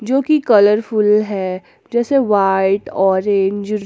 जो कि कलरफुल जैसे व्हाइट ऑरेंज --